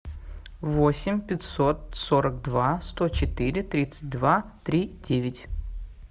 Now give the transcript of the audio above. восемь пятьсот сорок два сто четыре тридцать два три девять